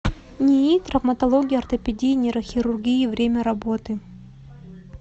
нии травматологии ортопедии и нейрохирургии время работы